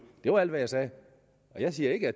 det var alt hvad jeg sagde jeg siger ikke